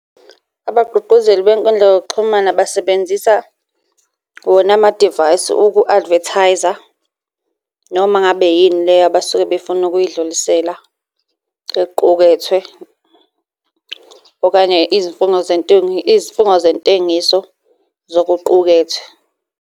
Abagqugquzeli bey'nkundla zokuxhumana basebenzisa wona amadivayisi uku-advertise-a noma ngabe yini leyo abasuke befuna ukuyidlulisela ekuqukethwe, okanye izifungo izifungo zentengiso zokuqukethwe.